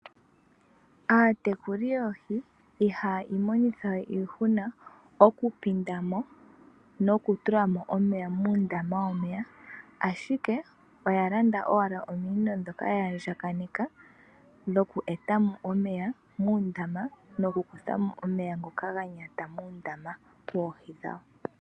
Aatekuli yoohi ihaya imonithawe iihuna okupinda mo noku tula mo omeya muundama womeya, ashike oya landa owala ominino ndhoka ya andjakaneka dhoku e ta mo omeya noku kutha mo omeya ngoka ga nyata muundama wawo.